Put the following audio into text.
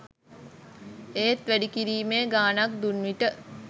ඒත් වැඩි කිරිමේ ගාණක් දුන් විට